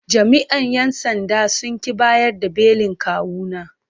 Jami’an ‘yan sandan sun ƙi bayar da belin kawuna.